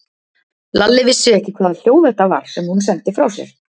Lalli vissi ekki hvaða hljóð þetta var sem hún sendi frá sér.